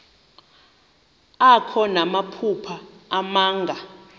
akho namaphupha abanga